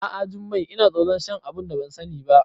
A'a Jummai, Ina tsoron shan abunda ban sani ba